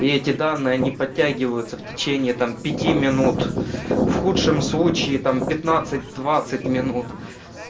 и эти данные не подтягиваются в течение там пяти минут в худшем случае там пятнадцать двадцать минут